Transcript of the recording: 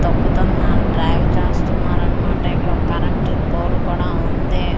తొక్కుతున్న dry--